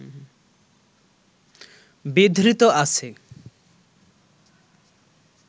বিধৃত আছে